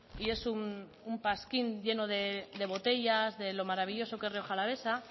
y es un pasquín lleno de botellas de lo maravilloso que es rioja alavesa